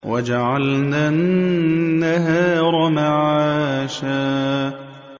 وَجَعَلْنَا النَّهَارَ مَعَاشًا